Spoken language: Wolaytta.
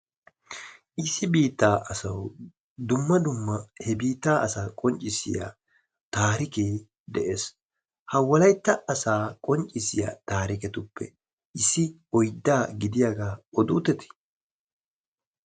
Issi biittaa asawu dumma dumma he biittaa asaa qonccissiya taarikee de'ees. Ha wolaytta asaa qonccissiya taariketuppe issi oydaa gidiyaagaa oduutettii?